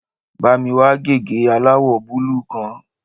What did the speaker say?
Bá mi wá gègé aláwọ̀ búlúù kan